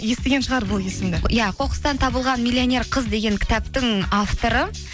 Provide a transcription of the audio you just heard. естіген шығар бұл есімді иә қоқыстан табылған миллионер қыз деген кітаптың авторы